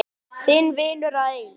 Þinn vinur að eilífu.